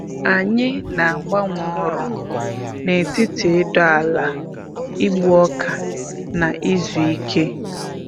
Anyị na-agbanwe ọrụ n’etiti ịdọ ala, igbu ọka, na izu ike.